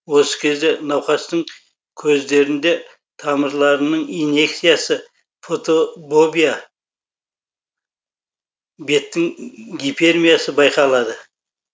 осы кезде науқастың көздерінде тамырларының иньекциясы фотобобия беттің гипермиясы байқалады